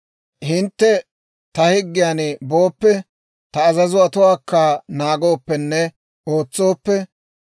«Hintte ta higgiyaan booppe, ta azazotuwaakka naagooppenne ootsooppe,